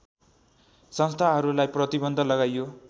संस्थाहरूलाई प्रतिबन्ध लगाइयो